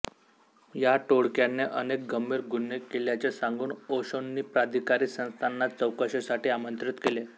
या टोळक्याने अनेक गंभीर गुन्हे केल्याचे सांगून ओशोंनी प्राधिकारी संस्थांना चौकशीसाठी आमंत्रित केले